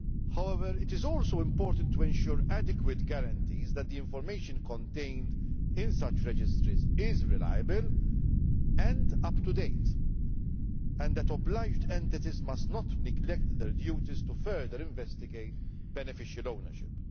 However, it is also important to ensure that there are adequate guarantees that the information contained in such registries is reliable and up to date, and that obliged entities must not neglect their duties to further investigate beneficial ownership.